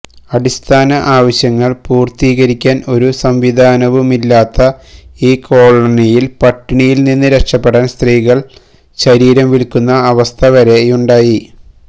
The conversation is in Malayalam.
അടിസ്ഥാന ആവശ്യങ്ങള് പൂര്ത്തീകരിക്കാന് ഒരു സംവിധാനവുമില്ലാത്ത ഈ കോളനിയില് പട്ടിണിയില് നിന്ന് രക്ഷപ്പെടാന് സ്ത്രീകള് ശരീരം വില്ക്കുന്ന അവസ്ഥവരെയുണ്ടായി